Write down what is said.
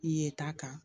Ye ta kan